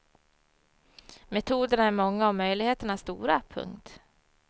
Metoderna är många och möjligheterna stora. punkt